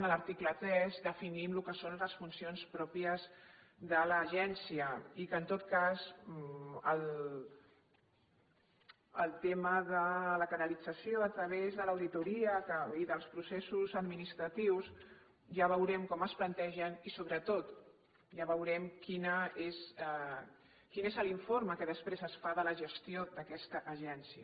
a l’article tres definim el que són les funcions pròpies de l’agència i que en tot cas el tema de la canalització a través de l’auditoria i dels processos administratius ja veurem com es planteja i sobretot ja veurem quin és l’informe que després es fa de la gestió d’aquesta agència